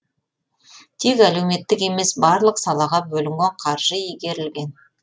тек әлеуметтік емес барлық салаға бөлінген қаржы игерілген